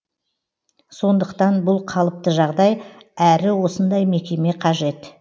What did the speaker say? сондықтан бұл қалыпты жағдай әрі осындай мекеме қажет